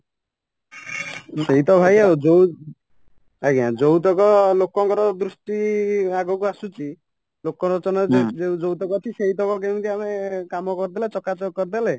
ସେଇତ ଭାଇ ଆଉ ଯୋଉ ଆଂଜ୍ଞା ଯୋଉତକ ଲୋକଙ୍କର ଦୃଷ୍ଟି ଆଗକୁ ଆସୁଛି ଲୋକଲୋଚନରେ ଯୋଉଟାକା ଅଛି ସେଇତକ କେମିତି ଆମେ କାମ କରିଦେଲେ ଚକାଚକ କରିଦେଲେ